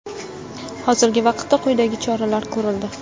Hozirgi vaqtda quyidagi choralar ko‘rildi.